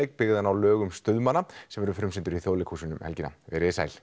byggðan á lögum stuðmanna sem verður frumsýndur í Þjóðleikhúsinu um helgina veriði sæl